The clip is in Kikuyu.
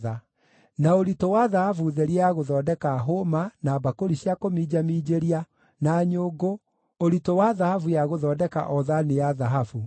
na ũritũ wa thahabu therie ya gũthondeka hũũma, na mbakũri cia kũminjaminjĩria, na nyũngũ, ũritũ wa thahabu ya gũthondeka o thaani ya thahabu; na ũritũ wa betha ya gũthondeka o thaani ya betha;